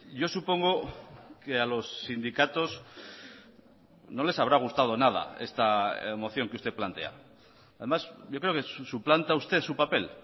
yo supongo que a los sindicatos no les habrá gustado nada esta moción que usted plantea además yo creo que suplanta usted su papel